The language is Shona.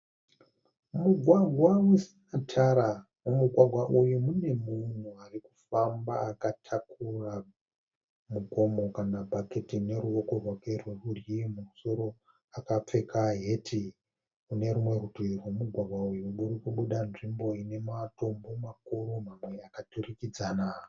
Mugwagwa usina tara. Mumugwagwa uyu mune munhu arikufamba akatakura mugomo kana bhaketi neruwoko rwake rwe rudyi. Mumusoro akapfeka heti. Kunerimwe rutivi rwemugwagwa uyu kuri kubuda nzvimbo ina matombo makuru mamwe akaturikidzana.